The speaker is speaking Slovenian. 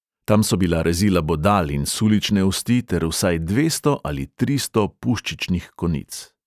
Tam so bila rezila bodal in sulične osti ter vsaj dvesto ali tristo puščičnih konic.